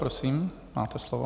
Prosím, máte slovo.